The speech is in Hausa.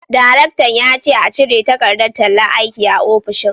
Daraktan ya ce a cire takardar tallar aiki a ofishin